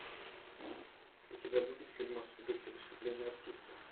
у тебя будет фильмас в духе выступления артиста